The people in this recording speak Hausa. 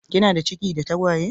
Kinada ciki da tagwaye?